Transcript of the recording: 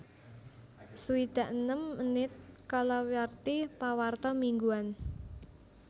swidak enem menit kalawarti pawarta mingguan